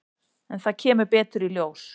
En það kemur betur í ljós.